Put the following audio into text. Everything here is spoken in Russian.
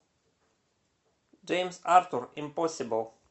джеймс артур импосибл